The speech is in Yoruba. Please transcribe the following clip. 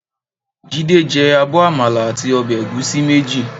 Jídé jẹ abọ́ àmàlà àti ọbẹ̀ ẹ̀gúsí méjì.